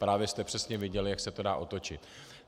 Právě jste přesně viděli, jak se to dá otočit.